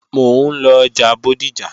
Mò ń lọ ọjà Bódìjà